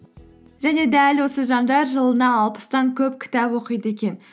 және дәл осы жандар жылына алпыстан көп кітап оқиды екен